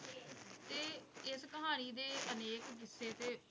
ਤੇ ਇਸ ਕਹਾਣੀ ਦੇ ਅਨੇਕ ਕਿੱਸੇ ਤੇ